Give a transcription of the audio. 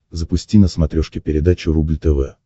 запусти на смотрешке передачу рубль тв